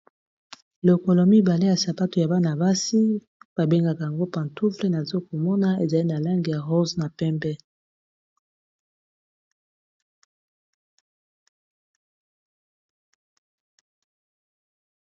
Lokolo mibale ya sapato ya bana basi ba bengaka yango pantoufle naza komona ezali na langi ya rose na pembe.